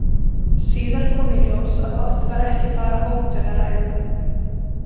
Síðar kom í ljós að oft var ekki bara hótun að ræða.